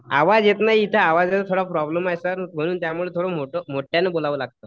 आवाज येत नाही इथे आवाजाचा थोडा प्रॉब्लेम आहे सर म्हणून त्यामुळे थोडं मोठं मोठ्याने बोलावं लागतंय.